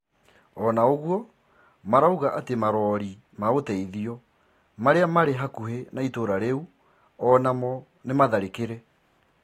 Ona ũgũo marauga ati marori ma uteithio maria mari hakuhi na itura riu onamo nimatharikire.